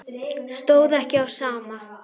Stóð ekki á sama.